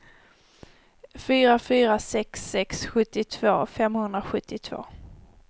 fyra fyra sex sex sjuttiotvå femhundrasjuttiotvå